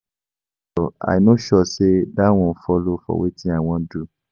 Pastor I no sure say dat one follow for wetin I wan do